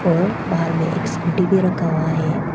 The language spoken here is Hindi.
और बाहर में एक स्कूटी भी रखा हुआ है।